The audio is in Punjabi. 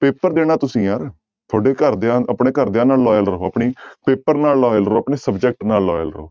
ਪੇਪਰ ਦੇਣਾ ਤੁਸੀਂ ਯਾਰ ਤੁਹਾਡੇ ਘਰਦਿਆਂ ਆਪਣੇ ਘਰਦਿਆਂ ਨਾਲ loyal ਰਹੋ ਆਪਣੇ ਪੇਪਰ ਨਾਲ loyal ਰਹੋ ਆਪਣੇ subject ਨਾਲ loyal ਰਹੋ।